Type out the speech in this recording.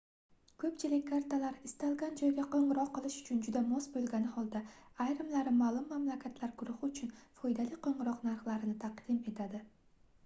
koʻpchilik kartalar istalgan joyga qoʻngʻiroq qilish uchun juda mos boʻlgani holda ayrimlari maʼlum mamlakatlar guruhi uchun foydali qoʻngʻiroq narxlarini taqim etadi